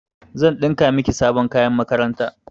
Zan ɗinka miki sabon kayan makaranta.